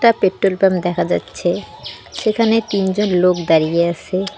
Petrol pump দেখা যাচ্ছে যেখানে তিনজন লোক দাঁড়িয়ে আছে।